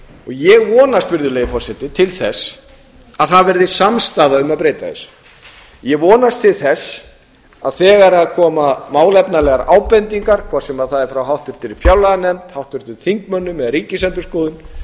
ég vonast virðulegi forseti til þess að það verði samstaða um að breyta þessu ég vonast til þess að þegar koma málefnalegar ábendingar hvort sem það er frá háttvirtri fjárlaganefnd háttvirtum þingmönnum eða ríkisendurskoðun